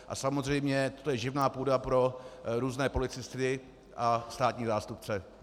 A samozřejmě to je živná půda pro různé policisty a státní zástupce.